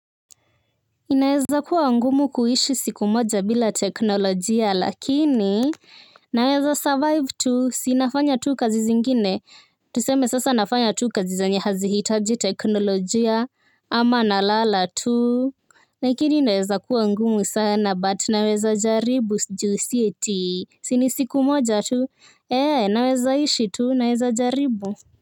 Inaweza kuwa ngumu kuishi siku moja bila teknolojia lakini naweza survive tu si nafanya tu kazi zingine. Tuseme sasa nafanya tu kazi zenye hazihitaji teknolojia ama nalala tu. Lakini inaweza kuwa ngumu sana but naweza jaribu juu si eti, si ni siku moja tu, nawezaishi tu naweza jaribu.